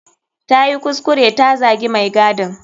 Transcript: Tayi kuskure ta zagi mai gadin.